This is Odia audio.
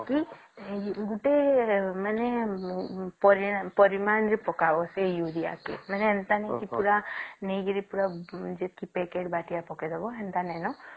ବାକି ଗୋଟେ ମାନେ ପରିମାଣ ରେ ପକାଇବା ସେଇ ୟୁରିଆ କେ ମାନେ ଏଟା ନାଇଁ କି ନେଇକରି କି ଗୋଟେ packet ବାକିଆ ପକେଇଦବା ହେନ୍ତା ନାଇଁ କି